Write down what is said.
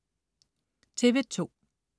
TV2: